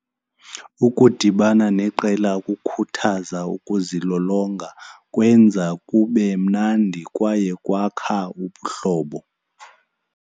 Ukudibana neqela okukhuthaza ukuzilolonga kwenza kube mnandi kwaye kwakha ubuhlobo.